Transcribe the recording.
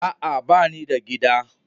A'a banida gida